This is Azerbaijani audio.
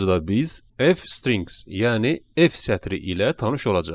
Bu mövzuda biz F-strings, yəni F sətri ilə tanış olacağıq.